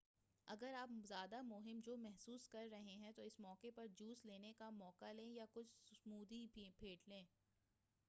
اگر آپ زیادہ مہم جو محسوس کررہے ہیں تو اس موقع پر جوس لینے کا موقع لیں یا کچھ سمودھی پھینٹ لیں